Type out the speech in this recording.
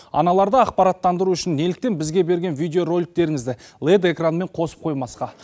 аналарды ақпараттандыру үшін неліктен бізге берген видеороликтеріңізді лед экранмен қосып қоймасқа